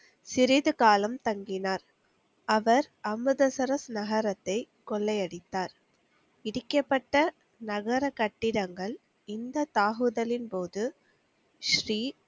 சிறிது காலம் தங்கினார். அவர் அமிர்தசரஸ் நகரத்தை கொள்ளையடித்தார். இடிக்கப்பட்ட நகர கட்டிடங்கள் இந்த தாக்குதலின் போது ஸ்ரீ